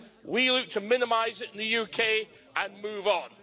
We look to minimise it in the UK and move on.